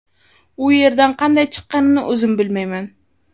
U yerdan qanday chiqqanimni o‘zim bilmayman.